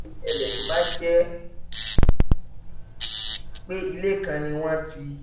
kí ló lè ṣẹlẹ̀ tó bá jẹ́ pé ilé kan ni wọ́n ti